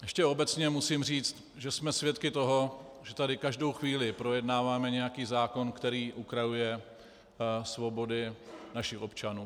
Ještě obecně musím říct, že jsme svědky toho, že tady každou chvíli projednáváme nějaký zákon, který ukrajuje svobodu našich občanů.